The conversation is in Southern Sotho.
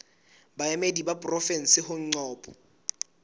baemedi ba porofensi ho ncop